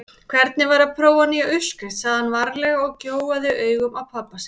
Hvernig væri að prófa nýja uppskrift sagði hann varlega og gjóaði augunum á pabba sinn.